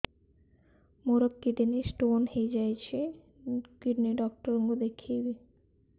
ମୋର kidney stone ହେଇଛି kidney doctor କୁ ଦେଖାଇବି